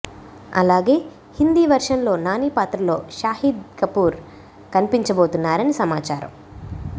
అలాగే హిందీ వెర్షన్ లో నాని పాత్రలో షాహిద్ కపూర్ కనిపించబోతున్నారని సమాచారం